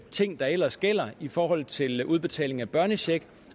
ting der ellers gælder i forhold til udbetaling af børnechecken